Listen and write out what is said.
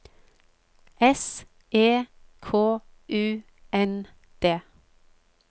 S E K U N D